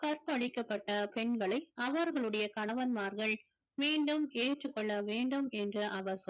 கற்பழிக்கப்பட்ட பெண்களை அவர்களுடைய கணவன்மார்கள் மீண்டும் ஏற்றுக்கொள்ள வேண்டும் என்ற